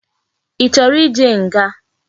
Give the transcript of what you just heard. Ichoro ije nga?